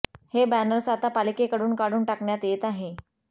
हे बॅनर्स आता पालिकेकडून काढून टाकण्यात येत आहे